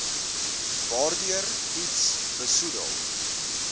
waardeur iets besoedel